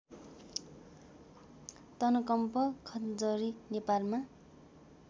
तनकम्प खञ्जरी नेपालमा